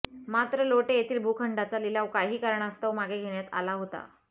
मात्र लोटे येथील भुखंडाचा लिलाव काही कारणास्तव मागे घेण्यात आला होता